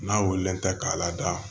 N'a wililen tɛ k'a lada